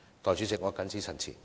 代理主席，我謹此陳辭。